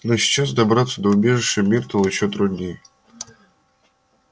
но сейчас добраться до убежища миртл ещё труднее